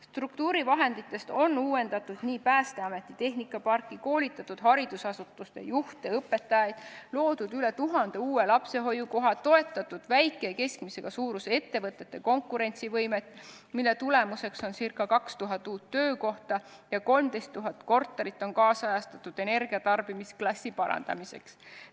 Struktuurivahendite abil on uuendatud Päästeameti tehnikaparki, koolitatud haridusasutuste juhte ja õpetajaid, loodud üle tuhande uue lapsehoiukoha, toetatud väikese ja keskmise suurusega ettevõtete konkurentsivõimet, mille tulemuseks on ca 2000 uut töökohta, ja 13 000 korterit on energiatarbimisklassi parandamiseks nüüdisajastatud.